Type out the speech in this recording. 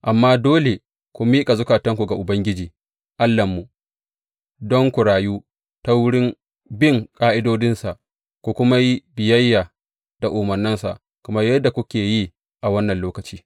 Amma dole ku miƙa zukatanku ga Ubangiji Allahnmu, don ku rayu, ta wurin bin ƙa’idodinsa, ku kuma yi biyayya da umarnansa, kamar yadda kuke yi a wannan lokaci.